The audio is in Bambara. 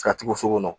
Ka tugu so kɔnɔ